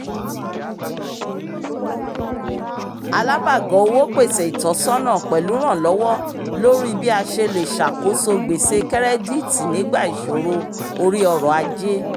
alábàgọ̀ owó pèsè ìtọ́sọ́nà pẹ̀lúrànlọwọ lórí bí a ṣe le ṣàkóso gbèsè kẹ́rẹ́díìtì nígbà ìṣòro orí ọrọ̀ ajé